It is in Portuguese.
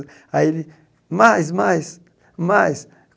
Aí ele, mais, mais, mais.